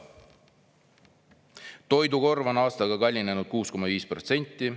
Toidukorv on aastaga kallinenud 6,5 protsenti.